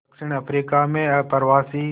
दक्षिण अफ्रीका में अप्रवासी